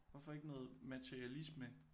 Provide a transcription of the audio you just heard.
Hvorfor ikke noget meterialisme?